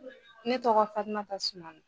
Ne tɔgɔ FATUMATA SUMANO.